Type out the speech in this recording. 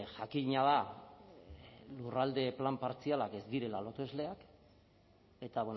jakina da lurralde plan partzialak ez direla lotesleak eta